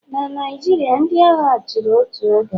Na Naijiria, ndị agha chịrị otu oge